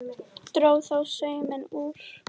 Dró þó sauminn úr.